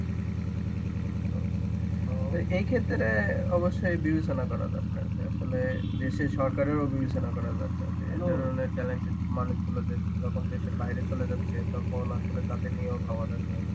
তো এই ক্ষেত্রে অবশ্যই বিবেচনা করা দরকার যে আসলে দেশে সরকারেরও বিবেচনা করা দরকার যে ধরনের talented মানুষগুলো দেশ যখন দেশের বাইরে চলে যাচ্ছে তখন আসলে তাদের নিয়েও ভাবা দরকার.